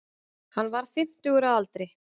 Hann var fimmtugur að aldri